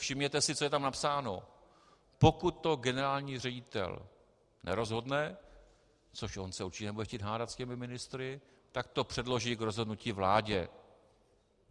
Všimněte si, co je tam napsáno - pokud to generální ředitel nerozhodne - což on se určitě nebude chtít hádat s těmi ministry, tak to předloží k rozhodnutí vládě.